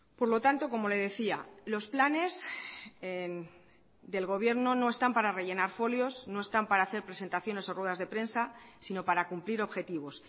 por lo tanto como le decía los planes del gobierno no están para rellenar folios no están para hacer presentaciones o ruedas de prensa sino para cumplir objetivos